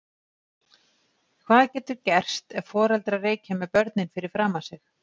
Hvað getur gerst ef foreldrar reykja með börnin fyrir framan sig?